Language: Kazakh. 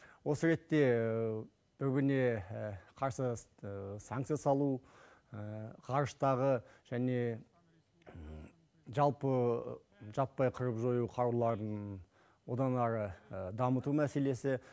осы ретте бүгіне қарсы санкця салу ғарыштағы және жалпы жаппай қырып жою қаруларын одан әрі дамыту мәселесі